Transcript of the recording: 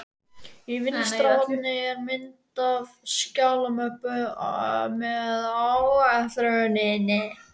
Í vinstra horni er mynd af skjalamöppu með áletruninni